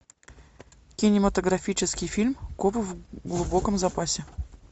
кинематографический фильм копы в глубоком запасе